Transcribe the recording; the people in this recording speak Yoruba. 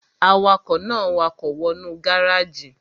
Awakọ̀ náà wakọ̀ wọ nú gáràjì